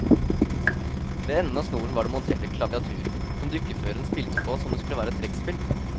Ved enden av snoren var det montert et klaviatur som dukkeføreren spilte på som om det skulle være et trekkspill.